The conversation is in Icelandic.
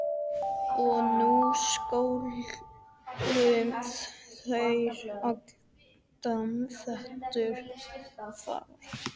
Og nú skuluð þér halda yður fast